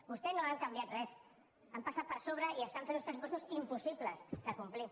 vostès no han canviat res hi han passat per sobre i estan fent uns pressupostos impossibles de complir